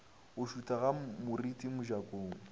go šutha ga moriti mojakong